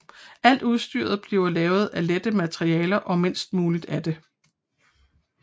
Alt udstyret bliver lavet af lette materialer og mindst muligt af det